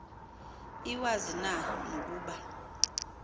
iwazi na nokuba